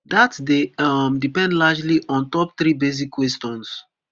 dat dey um depend largely ontop three basic questions